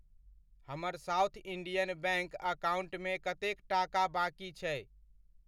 हमर South Indian Bank अकाउण्टमे कतेक टाका बाकि छै?